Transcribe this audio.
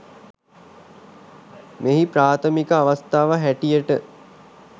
මෙහි ප්‍රාථමික අවස්ථාව හැටියට